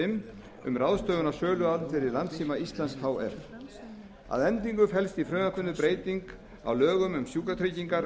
fimm um ráðstöfun á söluandvirði landssíma íslands h f að endingu felst í frumvarpinu breyting á lögum um sjúkratryggingar